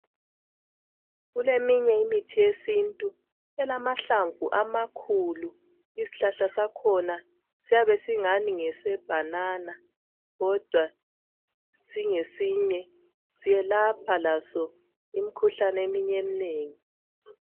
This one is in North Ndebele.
Kuleminye imithi yesintu elamahlamvu amakhulu! Isihlahla sakhona siyabe singanii ngesebhanana, kodwa kungesinye. Siyelapha laso imikhuhlane eminye, eminengi.